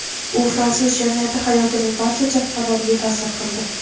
U fransuz jamiyati hayotining barcha jabhalariga ta’sir qildi.